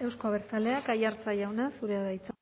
euzko abertzaleak aiartza jauna zurea da hitza